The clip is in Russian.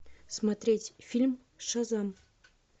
смотреть фильм шазам